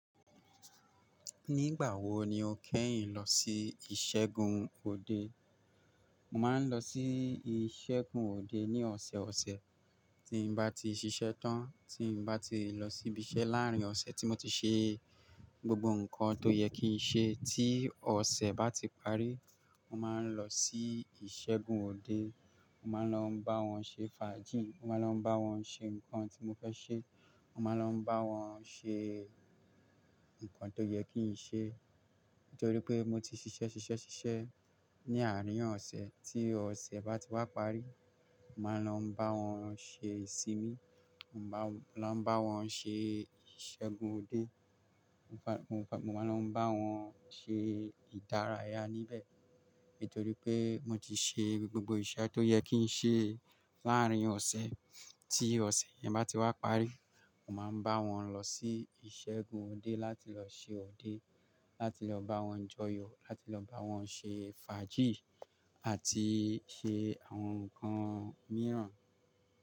Nígbà wo ni o kẹ́yìn lọ sí ìṣẹ́gun òde? Mo máa ń lọ sí ìṣẹ́gun òde ní ọ̀sẹ̀ ọ̀sẹ̀ tí bá ti ṣiṣẹ́ tán, tí bá ti lọ síbi iṣẹ́ láàrín ọ̀sẹ̀ tí mo ti ṣe gbogbo nǹkan tó yẹ kí n ṣe. Tí ọ̀sẹ̀ bá ti parí, mo máa ń lọ sí ìṣẹ́gun òde. Mo máa ń lọ bá wọn ṣe fàájì, mo máa ń lọ bá wọn ṣe ǹkan tí mo fẹ́ ṣe. Mo máa ń lọ bá wọn ṣe nǹkan tó yẹ kí n ṣe nítorí pé mo ti ṣiṣẹ́ ṣiṣẹ́ ṣiṣẹ́ ní àárín ọ̀sẹ̀. Tí ọ̀sẹ̀ bá ti wá parí, mo máa ń lọ bá wọn ṣe ìsinmi, mo máa ń lọ bá wọn ṣe ìṣẹ́gun òde. Mo máa ń lọ bá wọn ṣe ìdárayá níbẹ̀ nítorí pé mo ti ṣe gbogbo iṣẹ́ tó yẹ kí n ṣe láàárín ọ̀sẹ̀. Tí ọ̀sẹ̀ yẹn bá ti wá parí, mo máa ń bá wọn lọ sí ìṣẹ́gun òde láti lọ ṣe òde, láti lọ bá wọn joyò, láti lọ bá wọn ṣe fàájì àti ṣe àwọn ǹkan mìràn.